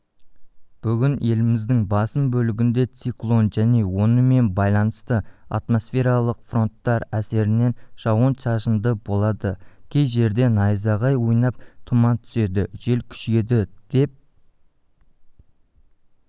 бүгін еліміздің басым бөлігінде циклон және онымен байланысты атмосфералық фронттар әсерінен жауын-шашындыболады кей жерде найзағай ойнап тұман түседі жел күшейеді деп